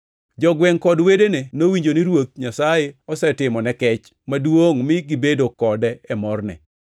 Jogwengʼ kod wedene nowinjo ni Ruoth Nyasaye osetimone kech maduongʼ mi gibedo kode e morne.